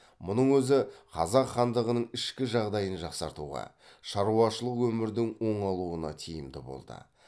мұның өзі қазақ хандығының ішкі жағдайын жақсартуға шаруашылық өмірдің оңалуына тиімді болды